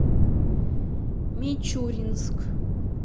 мичуринск